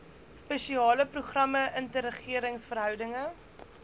spesiale programme interregeringsverhoudinge